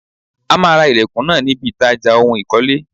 A máa ra ilẹ̀kùn náà ní ibiy ìtajà ohun ìkọ́lé.